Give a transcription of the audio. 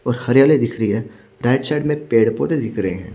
और हरियाली दिख रही है राईट साइड में पेड़ पोधे दिख रहे है।